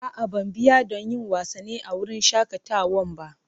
A'a, ban biya don yin wasanni a wurin shakatawan ba.